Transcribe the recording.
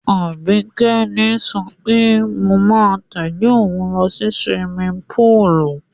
Àbíkẹ́ ni sọ pé mo máa tẹ̀lé òun lọ sí siwimi púùlù.